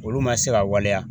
Olu ma se ka waleya